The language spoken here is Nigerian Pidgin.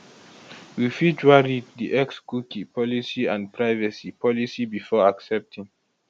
you fit wan read di xcookie policyandprivacy policybefore accepting